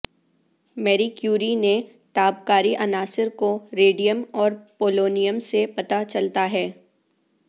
میری کیوری نے تابکاری عناصر کو ریڈیم اور پولونیم سے پتہ چلتا ہے